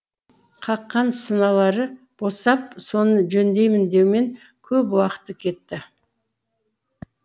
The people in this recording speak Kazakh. қаққан сыналары босап соны жөндеймін деумен көп уақыты кетті